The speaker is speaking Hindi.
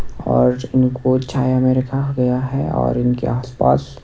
और इनको छाया में रखा गया है और इनके आस पास--